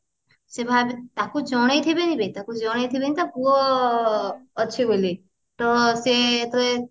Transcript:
ସେ ତାକୁ ଜଣେଇ ଥିବେନି ବେ ତାକୁ ଜଣେଇଥିବେନି ତା ପୁଅ ଅଛି ବୋଲି ତ ସେ ଯେତେବେଳେ